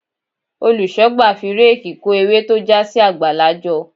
Olùṣọ́gbà fi réèkì kó ewé tó já sí àgbàlá jọ.